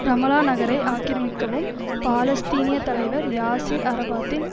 Ramallah நகரை ஆக்கிரமிக்கவும் பாலஸ்தீனிய தலைவர் யாசிர் அரபாத்தின்